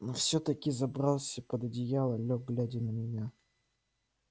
но всё-таки забрался под одеяло лёг глядя на меня